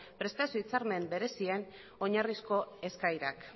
prestazio hitzarmen berezien oinarrizko eskaerak